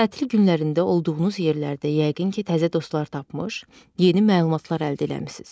Tətil günlərində olduğunuz yerlərdə yəqin ki, təzə dostlar tapmış, yeni məlumatlar əldə eləmisiniz.